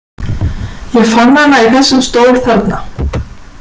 Ég fann hana í þessum stól þarna.